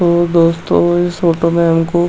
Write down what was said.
तो दोस्तों इस फोटो में हमको --